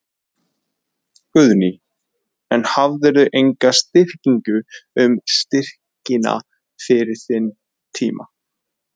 Guðný: En hafðirðu enga vitneskju um styrkina fyrir þann tíma?